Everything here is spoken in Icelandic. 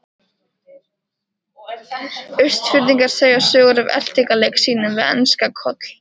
Austfirðing segja sögur af eltingaleik sínum við enska Koll.